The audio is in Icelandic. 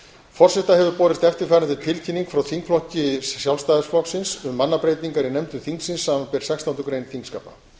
forseta hefur borist eftirfarandi tilkynning frá þingflokki sjálfstæðisflokks um mannabreytingar í nefndum þingsins samanber sextándu grein þingskapa